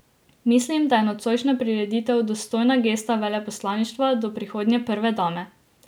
Mislim, da je nocojšnja prireditev dostojna gesta veleposlaništva do prihodnje prve dame.